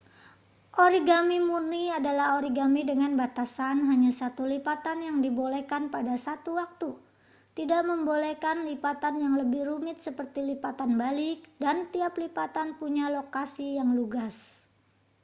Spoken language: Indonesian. origami murni adalah origami dengan batasan hanya satu lipatan yang dibolehkan pada satu waktu tidak membolehkan lipatan yang lebih rumit seperti lipatan balik dan tiap lipatan punya lokasi yang lugas